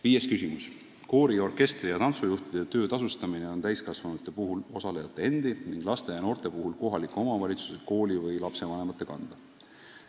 Viies küsimus: "Koori-, orkestri- ja tantsujuhtide töö tasustamine on täiskasvanute puhul osalejate endi ning laste ja noorte puhul kohaliku omavalitsuse, kooli või lapsevanemate kanda.